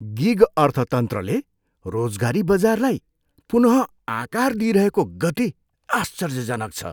Gig अर्थतन्त्रले रोजगारी बजारलाई पुनः आकार दिइरहेको गति आश्चर्यजनक छ।